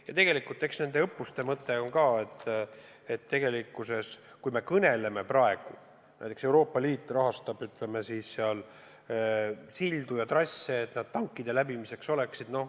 Ja tegelikkuses näiteks Euroopa Liit rahastab ka sildade ja trasside tugevdamist, et need tankide läbimiseks kõlbulikud oleksid.